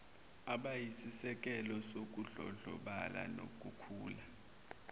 abayisisekelo sokudlondlobala nokukhula